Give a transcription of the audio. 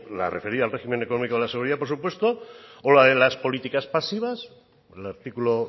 la referida al régimen económico de la seguridad por supuesto o la de las políticas pasivas con el artículo